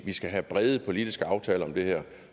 vi skal have brede politiske aftaler om det her